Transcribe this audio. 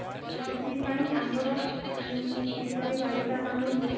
ତ ସେଥିପାଇଁ ଆମର ଉମ କିଶୋରୀ ବାଳିକା ମାନଙ୍କୁ